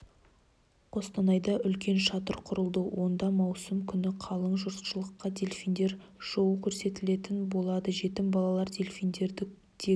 қостанайда үлкен шатыр құрылды онда маусым күні қалың жұртшылыққа дельфиндер шоуыкөрсетілетін болады жетім балалар дельфиндерді тегін